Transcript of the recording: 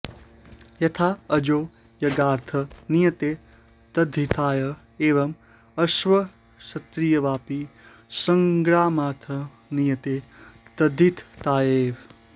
यथाऽजो यज्ञार्थं नीयते तद्धिताय एवं अश्वक्षत्रियावपि संग्रामार्थं नीयेते तद्धितायैव